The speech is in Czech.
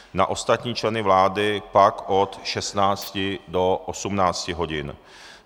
Na ostatní členy vlády pak od 16.00 do 18.00 hodin.